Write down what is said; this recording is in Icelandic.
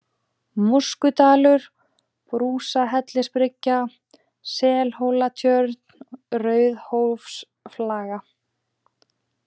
Móskudalur, Brúsahellisbryggja, Selhólatjörn, Rauðhólsflaga